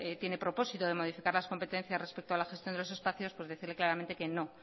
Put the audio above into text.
tiene propósito de modificar las competencias respecto a la gestión de los espacios pues decirle claramente que no